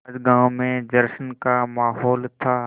आज गाँव में जश्न का माहौल था